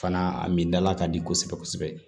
Fana a min dala ka di kosɛbɛ kosɛbɛ